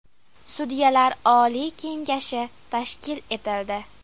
Sudyalar oliy kengashi tashkil etildi.